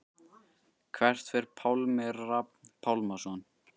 Hvert fer Pálmi Rafn Pálmason?